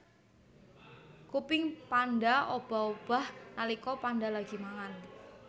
Kuping panda obah obah nalika panda lagi mangan